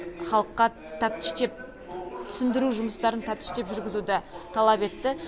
халыққа тәптіштеп түсіндіру жұмыстарын тәптіштеп жүргізуді талап етті